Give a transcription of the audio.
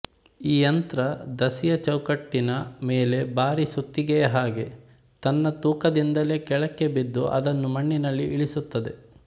ಈ ಯಂತ್ರ ದಸಿಯ ಚೌಕಟ್ಟಿನ ಮೇಲೆ ಭಾರಿ ಸುತ್ತಿಗೆಯ ಹಾಗೆ ತನ್ನ ತೂಕದಿಂದಲೇ ಕೆಳಕ್ಕೆ ಬಿದ್ದು ಅದನ್ನು ಮಣ್ಣಿನಲ್ಲಿ ಇಳಿಸುತ್ತದೆ